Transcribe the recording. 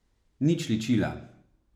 Nič ličila.